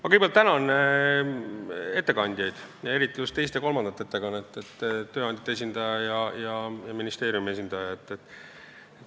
Ma kõigepealt tänan ettekandjaid, eriti just teist ja kolmandat ehk tööandjate esindajat ja ministeeriumi esindajat.